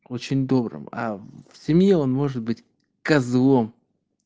очень добрым а в семье он может быть козлом